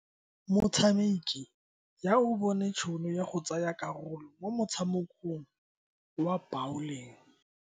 Motshameki ya o bone tšhono ya go tsaya karolo mo motshamekong wa bawling.